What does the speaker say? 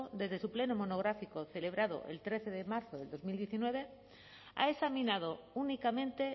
desde su pleno monográfico celebrado el trece de marzo de dos mil diecinueve ha examinado únicamente